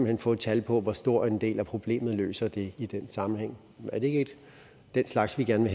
hen få et tal på hvor stor en del af problemet det løser i i den sammenhæng er det ikke den slags vi gerne